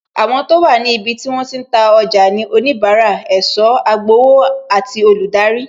Àwọn tó wà ní ibi tí wọ́n ti ń ná ọjà ni onibara, ẹ̀sọ́, agbowó àti olùdarí